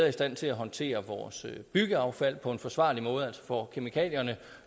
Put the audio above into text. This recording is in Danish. i stand til at håndtere vores byggeaffald på en forsvarlig måde altså får kemikalierne